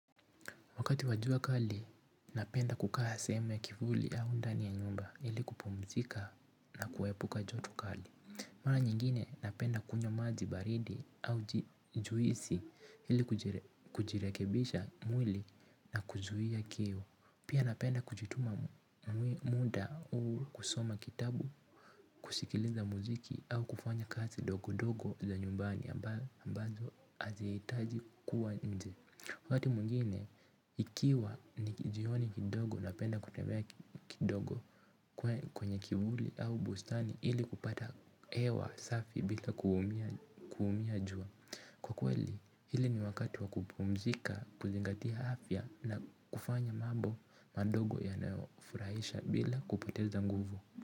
Wakati wa jua kali napenda kukaa sehemu ya kivuli au ndani ya nyumba ili kupumzika na kuepuka joto kali. Mara nyingine napenda kunywa maji baridi au juisi ili kujirekebisha mwili na kuzuia kiu. Pia napenda kujituma muda hu kusoma kitabu, kushikiliza muziki au kufanya kazi dogo dogo za nyumbani ambazo aziitaji kuwa nje. Wakati mungine, ikiwa ni jioni kidogo napenda kutembea kidogo kwenye kivuli au bustani ili kupata ewa safi bila kuumia jua. Kwa kweli, hili ni wakati wa kupumzika, kuzingatia hafya na kufanya mabo mandogo yanaofuraisha bila kupoteza nguvu.